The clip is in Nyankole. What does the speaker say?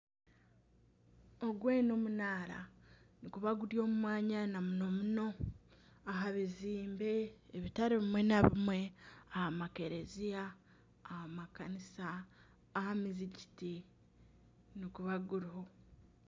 Ogwe n'omunaara. Niguba guri omu mwanya namunomuno aha bizimbe bitari bimwe na bimwe, aha makereziya aha makanisa aha mizikiti niguba guriho.